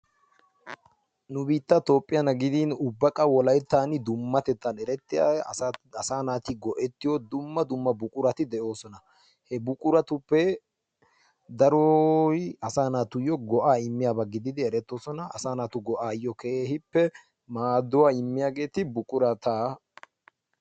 nu biittan toophiyana gidin ubaqa wolayttana gidin dummatettan erettiya asaa naati go'ettiyo dumma dumma buqurati de'oosona. he buquratuppe daroy asaa naatuyo go'aa immiyaba gididdi eretoosona. asaa naatu go"aayo keehippe maaduwa immiya buqurata